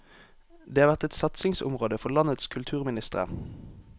Det har vært et satsingsområde for landenes kulturministre.